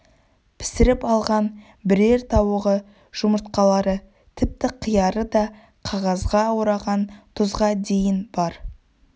пісіріп алған бірер тауығы жұмыртқалары тіпті қияры да қағазға ораған тұзға дейін бар